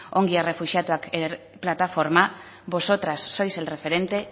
ongi etorri errefuxiatuak plataforma vosotras sois el referente